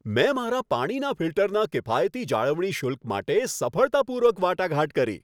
મેં મારા પાણીના ફિલ્ટરનાં કિફાયતી જાળવણી શુલ્ક માટે સફળતાપૂર્વક વાટાઘાટ કરી.